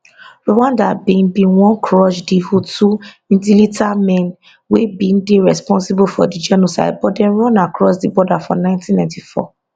rwanda bin bin wan crush di hutu militiamen wey bin dey responsible for di genocide but dem run across di border for 1994